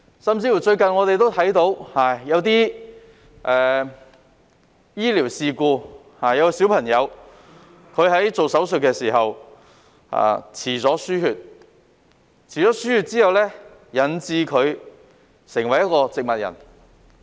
甚至最近我們看到有些醫療事故，小朋友做手術期間延遲輸血，導致她成為植物人。